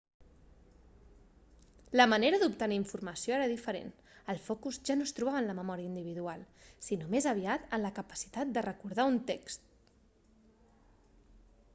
la manera d'obtenir informació era diferent el focus ja no es trobava en la memòria individual sinó més aviat en la capacitat de recordar un text